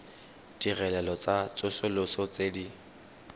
ditirelo tsa tsosoloso tse di